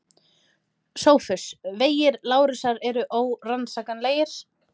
SOPHUS: Vegir Lárusar eru órannsakanlegir.